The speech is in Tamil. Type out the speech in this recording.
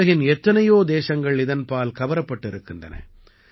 உலகின் எத்தனையோ தேசங்கள் இதன்பால் கவரப்பட்டு இருக்கின்றன